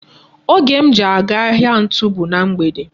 Oge m ji aga ahịa ntu bu na mgbede.